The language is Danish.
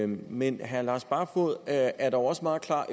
men herre lars barfoed er er dog også meget klar